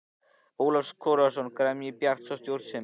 Ólafs Kárasonar og gremju Bjarts og stjórnsemi.